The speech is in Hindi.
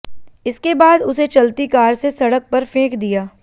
इसके बाद उसे चलती कार से सड़क पर फेंक दिया